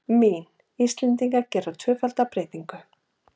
Mín: Íslendingar gera tvöfalda breytingu.